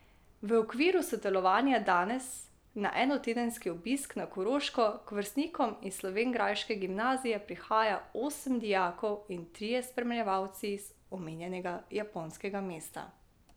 V okviru sodelovanja danes na enotedenski obisk na Koroško k vrstnikom iz slovenjgraške gimnazije prihaja osem dijakov in trije spremljevalci iz omenjenega japonskega mesta.